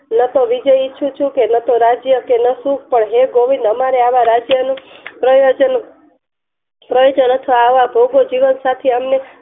લખો વિજયી છું લખો રાજ્ય હે ગોવિંદ અમારે રાજ્ય નું પ્રયોજન પ્રયોજન અથવા આવા ભોગો જીવન સાથી